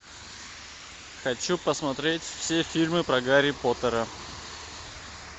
хочу посмотреть все фильмы про гарри поттера